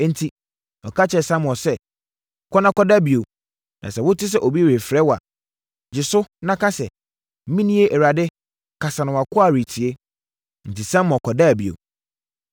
Enti, ɔka kyerɛɛ Samuel sɛ, “Kɔ na kɔda bio, na sɛ wote sɛ obi refrɛ wo a, gye so na ka sɛ, ‘Menie, Awurade kasa na wʼakoa retie.’ ” Enti, Samuel kɔdaa bio.